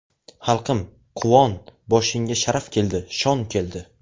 Xalqim, quvon, boshingga Sharaf keldi, shon keldi.